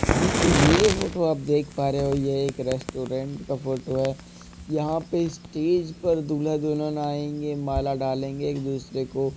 दोस्तों ये जो फोटो आप देख पा रहे हो ये एक रेस्टोरेंट का फोटो है। यहाँ पे स्टेज पर दूल्हा दुल्हन आएंगे माला डालेंगे एक दूसरे को।